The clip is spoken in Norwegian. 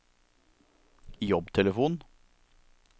jobbtelefon